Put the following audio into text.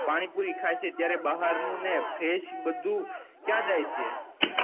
પાણી પૂરી ખાય છે ત્યારે ભાહર નું નેબધું ક્યાં જાય છે